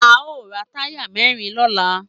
A o ra táyà mẹ́rin lọ́la.